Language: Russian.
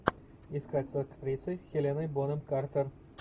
искать с актрисой хеленой бонем картер